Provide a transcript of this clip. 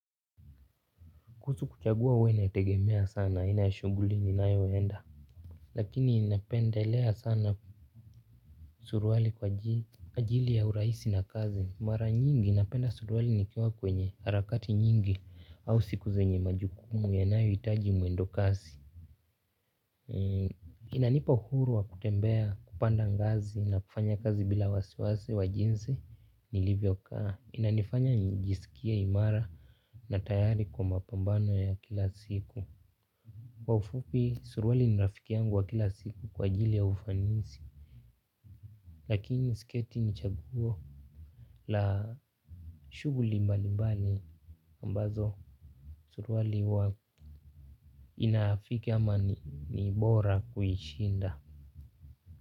Kuhusu kuchagua huwa inategemea sana aina ya shughuli ninayoenda. Lakini ninapendelea sana suruali kwaajili ya urahisi na kazi. Mara nyingi ninapenda suruali nikiwa kwenye harakati nyingi au siku zenye majukumu yanayo hitaji mwendo kasi. Inanipa uhuru wa kutembea, kupanda ngazi na kufanya kazi bila wasiwasi wa jinzi nilivyokaa. Inanifanya nijisikie imara na tayari kwa mapambano ya kila siku. Kwa ufupi suruali ni rafiki yangu wa kila siku kwaajili ya ufanisi. Lakini siketi ni chaguo la shughuli mbali mbali. Ambazo suruali huwa inafiki ama nibora kuishinda.